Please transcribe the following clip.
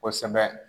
Kosɛbɛ